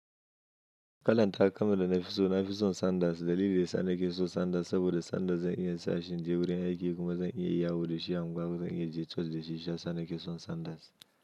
Ƙalan takalmar da nafi so, nafi son Sandals. Dalili da sana ke so Sandals saboda Sandals zai iya in sashi inje gurin aiki kuma zai iya yawo da shi a unguwa kuma zai iya in je church da shi shiyasa. Sa nake son Sanders.